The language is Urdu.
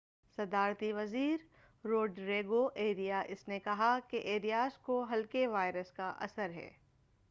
صدارتی وزیر روڈریگو ایریاس نے کہا کہ ایریاس کو ہلکے وائرس کا اثر ہے